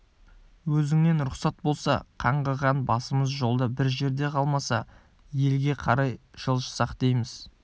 өзіңнен рұқсат болса қаңғыған басымыз жолда бір жерде қалмаса елге қарай жылжысақ дейміз